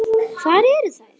Hvar eru þær?